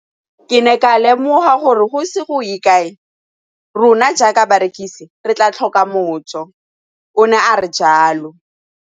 Ke ne ka lemoga gore go ise go ye kae rona jaaka barekise re tla tlhoka mojo, o ne a re jalo.